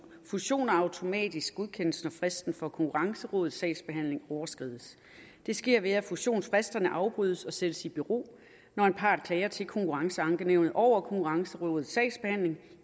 fusioner automatisk godkendes når fristen for konkurrencerådets sagsbehandling overskrides det sker ved at fusionsfristerne afbrydes og sættes i bero når en part klager til konkurrenceankenævnet over konkurrencerådets sagsbehandling